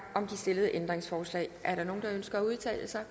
om de stillede ændringsforslag er der nogen der ønsker at udtale sig